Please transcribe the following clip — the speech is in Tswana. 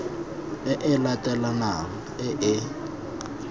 e e latelanang e e